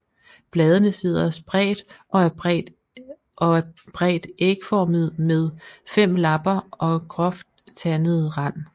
Bladene sidder spredt og er bredt ægformede med fem lapper og groft tandet rand